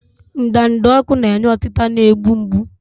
Ndanda ọkụ na-enye ọtita na-egbu mgbu.